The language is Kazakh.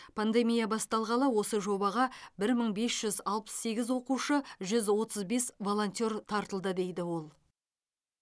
пандемия басталғалы осы жобаға бір мың бес жүз алпыс сегіз оқушы жүз отыз бес волонтер тартылды дейді ол